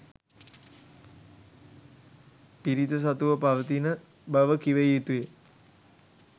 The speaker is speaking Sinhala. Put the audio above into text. පිරිත සතුව පවතින බව කිව යුතු ය.